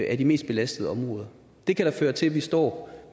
af de mest belastede områder det kan da føre til at vi står